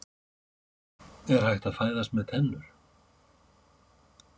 Er hægt að fæðast með tennur?